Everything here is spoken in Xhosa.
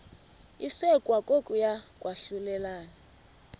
isekwa kokuya kwahlulelana